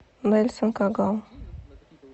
нельсон кагал